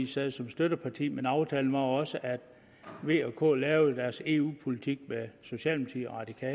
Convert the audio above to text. sad som støtteparti men aftalen var også at v og k lavede deres eu politik med socialdemokratiet og